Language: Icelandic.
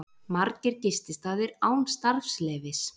Margir gististaðir án starfsleyfis